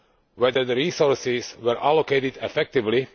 whether the resources were allocated effectively